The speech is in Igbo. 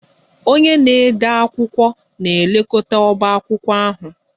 Onye na-ede akwụkwọ na-elekọta ọbá akwụkwọ ahụ